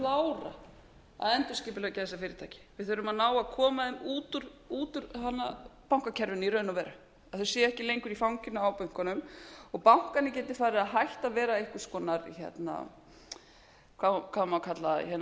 klára að endurskipuleggja þessi fyrirtæki við þurfum að ná að koma þeim út úr bankakerfinu í raun og veru að þau séu ekki lengur í fanginu á bönkunum og bankarnir geti farið að hætta að vera einhvers konar hvað á maður að kalla